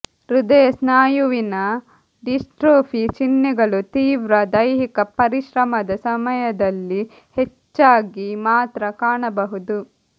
ಹೃದಯ ಸ್ನಾಯುವಿನ ಡಿಸ್ಟ್ರೋಫಿ ಚಿಹ್ನೆಗಳು ತೀವ್ರ ದೈಹಿಕ ಪರಿಶ್ರಮದ ಸಮಯದಲ್ಲಿ ಹೆಚ್ಚಾಗಿ ಮಾತ್ರ ಕಾಣಬಹುದು